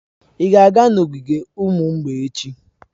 Ị ga-aga n'ogige ụmụ mgbei echi.